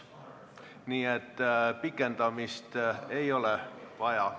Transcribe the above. Nii et pikendamist ei ole vaja.